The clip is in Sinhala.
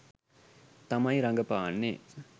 තමයි රඟපාන්නේ.